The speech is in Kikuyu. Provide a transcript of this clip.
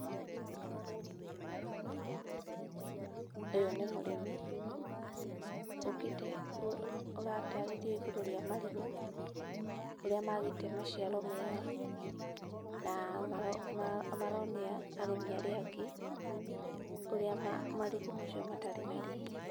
Ũyũ nĩ mũrĩmi ũkĩte, aratarĩria igũrũ rĩa marigũ ũrĩa maagĩte maciaro mega na maronia arĩmi arĩa angĩ ũrĩa marigũ macio matarĩ na riri.